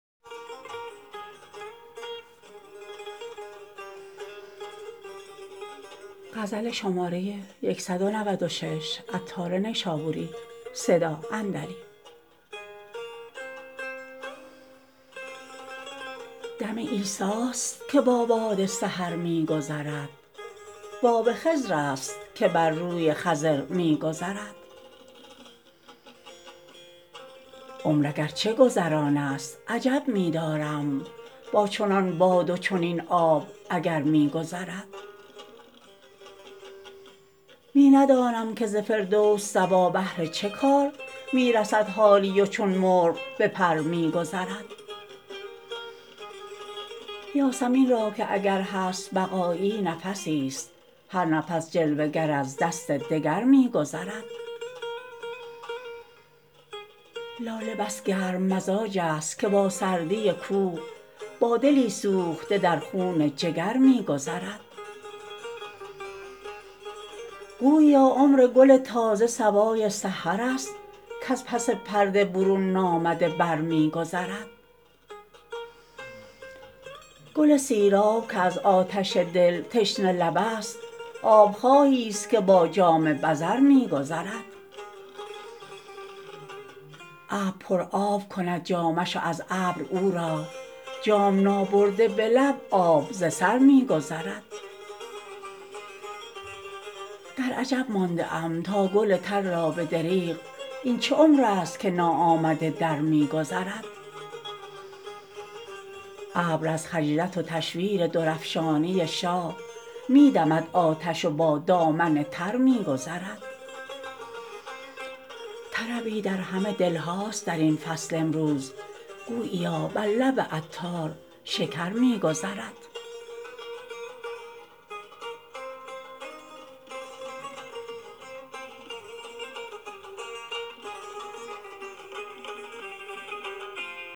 دم عیسی است که با باد سحر می گذرد وآب خضر است که بر روی خضر می گذرد عمر اگرچه گذران است عجب می دارم با چنان باد و چنین آب اگر می گذرد می ندانم که ز فردوس صبا بهر چه کار می رسد حالی و چون مرغ به پر می گذرد یاسمین را که اگر هست بقایی نفسی است هر نفس جلوه گر از دست دگر می گذرد لاله بس گرم مزاج است که با سردی کوه با دلی سوخته در خون جگر می گذرد گوییا عمر گل تازه صبای سحر است کز پس پرده برون نامده بر می گذرد گل سیراب که از آتش دل تشنه لب است آب خواهی است که با جام بزر می گذرد ابر پر آب کند جامش و از ابر او را جام نابرده به لب آب ز سر می گذرد در عجب مانده ام تا گل تر را به دریغ این چه عمر است که ناآمده در می گذرد ابر از خجلت و تشویر درافشانی شاه می دمد آتش و با دامن تر می گذرد طربی در همه دلهاست درین فصل امروز گوییا بر لب عطار شکر می گذرد